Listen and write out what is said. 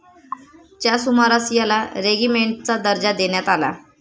च्या सुमारास याला रेगिमेण्टचा दर्जा देण्यात आला.